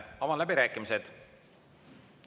Avan läbirääkimised.